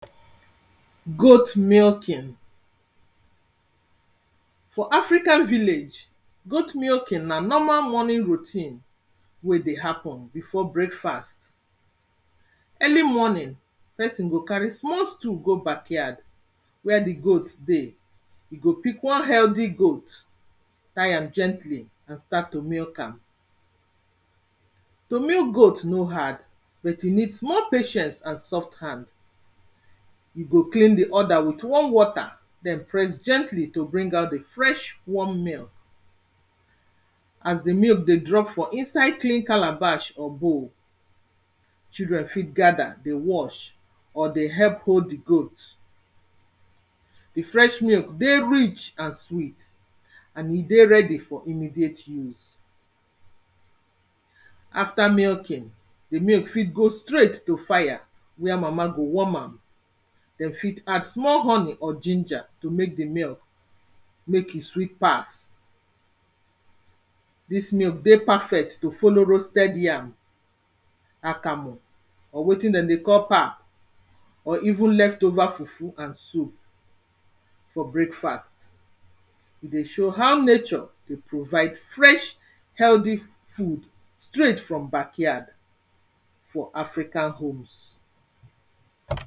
Goat milking, for African village goat milking na normal morning routine wey dey happen before breakfast, early morning pesin go carry small stood go backward where di goat dey, go pick one healthy goat tie am gently and start to milk am. To milk goat no hard but e need small patient and soft hand, you go clean di under with warm water Press gently to bring out di fresh warm milk as di milk dey drop for inside clean calabash or bowl children fit gather dey watch or dey help hold di goat, di fresh milk dey rich and sweat and e dey ready for immediate use after milking di milk fit go straight to fire where mama go warm am dem fit add small honey or ginger to make di milk make e sweat pass, di milk dey perfect to follow roasted yam, akamu or wetin dem dey call pap or even left over fufu and soup for breakfast. E dey show how nature dey provide fresh healthy food straight from backward for African home.